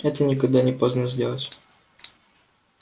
это никогда не поздно сделать